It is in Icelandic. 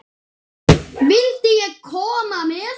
Vildi ég koma með?